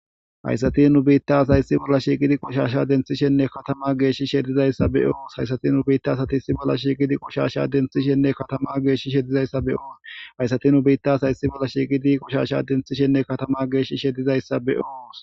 hayssati nu biitta as hayssi bolla shiiqidi qoshasha denthishenne katama geesh shedizayssa be oos hayssati nu biitta asati issi bolla shiiqidi qoshasha denthishenne katama geesh shedizayssa be oos hayssati nu biittas hayssi bolla shiiqidi qoshasha denthishenne katama geesh shedizayssa be oos